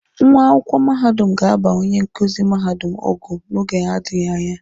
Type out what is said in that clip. Nwa akwụkwọ mahadum ga-aba onye nkuzi mahadum ọgụ n'oge na-adịghi anya.